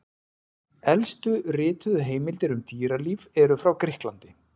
Elstu rituðu heimildir um dýralíf eru frá Grikklandi.